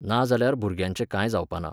नाजाल्यार भुरग्यांचें कांय जावपाना.